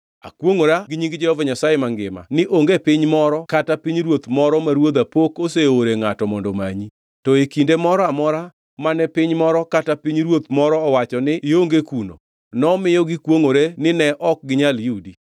Akwongʼora gi nying Jehova Nyasaye mangima ni onge piny moro kata pinyruoth moro ma ruodha pok oseore ngʼato mondo omanyi. To e kinde moro amora mane piny moro kata pinyruoth moro owacho ni ionge kuno, nomiyo gikwongʼore ni ne ok ginyal yudi.